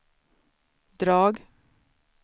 drag